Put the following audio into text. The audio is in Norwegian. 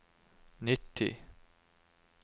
nitti